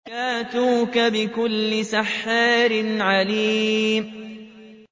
يَأْتُوكَ بِكُلِّ سَحَّارٍ عَلِيمٍ